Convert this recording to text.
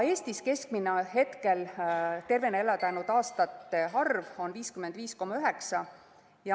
Eestis on keskmine tervena elada jäänud aastate arv 55,9.